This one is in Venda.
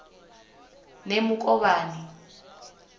nemukovhani